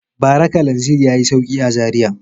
Bara kalanzir ya yi sauƙi a Zariya.